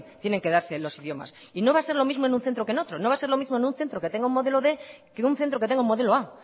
tienen que darse los idiomas y no va a ser lo mismo en un centro que en otro no va a ser lo mismo en un centro que tenga el modelo quinientos que un centro que tenga el modelo a